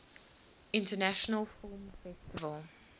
international film festival